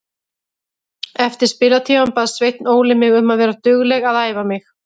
Eftir spilatímann bað Sveinn Óli mig um að vera dugleg að æfa mig.